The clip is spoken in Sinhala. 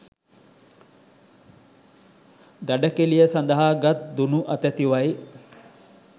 දඩකෙළිය සඳහා ගත් දුනු අතැතිවයි.